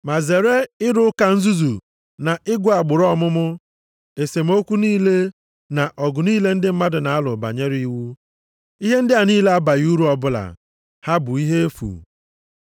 Ma zere ịrụ ụka nzuzu na ịgụ agbụrụ ọmụmụ, esemokwu niile, na ọgụ niile ndị mmadụ na-alụ banyere iwu. Ihe ndị a niile abaghị uru ọbụla, ha bụ ihe efu.